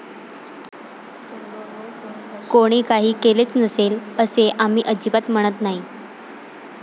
कोणी काही केलेच नसेल, असे आम्ही अजिबात म्हणत नाही.